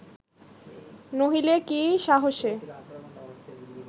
নহিলে কি সাহসে